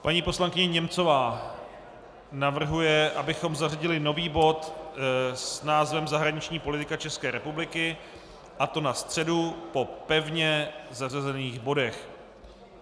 Paní poslankyně Němcová navrhuje, abychom zařadili nový bod s názvem Zahraniční politika České republiky, a to na středu po pevně zařazených bodech.